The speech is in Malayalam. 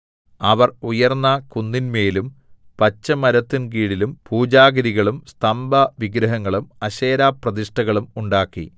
അവർ ഉയർന്ന കുന്നിന്മേലും പച്ചമരത്തിൻകീഴിലും പൂജാഗിരികളും സ്തംഭവിഗ്രഹങ്ങളും അശേരാപ്രതിഷ്ഠകളും ഉണ്ടാക്കി